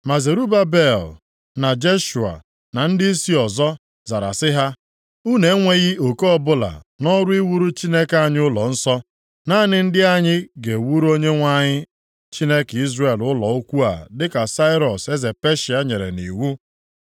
Ma Zerubabel, na Jeshua na ndịisi ọzọ zara sị ha, “Unu enweghị oke ọbụla nʼọrụ iwuru Chineke anyị ụlọnsọ. Naanị ndị anyị ga-ewuru Onyenwe anyị, Chineke Izrel ụlọ ukwu a dịka Sairọs eze Peshịa nyere nʼiwu.”